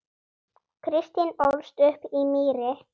Kristín ólst upp á Mýri.